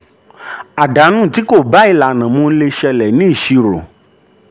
àdánù tí kò bá ìlànà mu lè ṣẹlẹ̀ ní ìṣirò.